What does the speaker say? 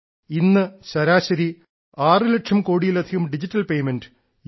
ഇന്ന് ശരാശരി 6 ലക്ഷം കോടിയിലധികം ഡിജിറ്റൽ പെയ്മെന്റ് യു